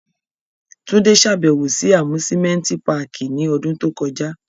Tunde ṣabẹwo si Amusimenti pààki ni ọdun to kọja